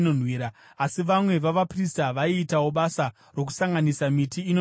Asi vamwe vavaprista vaiitawo basa rokusanganisa miti inonhuhwira.